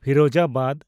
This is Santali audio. ᱯᱷᱤᱨᱳᱡᱟᱵᱟᱫᱽ